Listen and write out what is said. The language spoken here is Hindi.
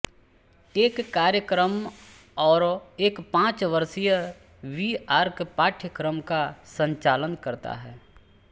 टेक कार्यक्रम और एक पांच वर्षीय बी आर्क पाठयक्रम का संचालन करता है